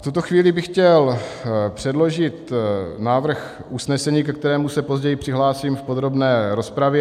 V tuto chvíli bych chtěl předložit návrh usnesení, ke kterému se později přihlásím v podrobné rozpravě: